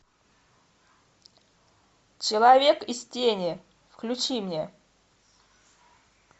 человек из тени включи мне